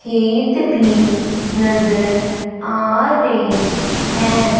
खेत भी नजर आ रहे हैं।